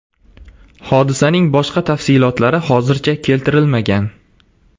Hodisaning boshqa tafsilotlari hozircha keltirilmagan.